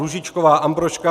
Růžičková Ambrožka